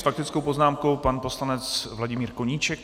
S faktickou poznámkou pan poslanec Vladimír Koníček.